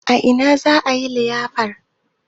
A ina za a yi liyafar?